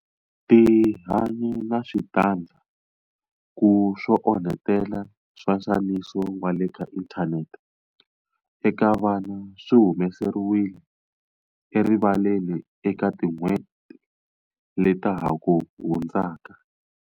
Tihanyi na switandzhaku swo onhetela swa nxaniso wa le ka inthanete eka vana swi humeseriwile erivaleni eka tin'hweti leta ha ku hundzaka.